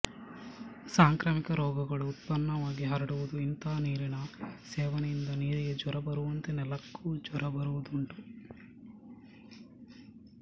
ಸಾಂಕ್ರಾಮಿಕ ರೋಗಗಳು ಉತ್ಪನ್ನವಾಗಿ ಹರಡುವುದು ಇಂಥ ನೀರಿನ ಸೇವನೆಯಿಂದ ನೀರಿಗೆ ಜ್ವರ ಬರುವಂತೆ ನೆಲಕ್ಕೂ ಜ್ವರ ಬರುವುದುಂಟು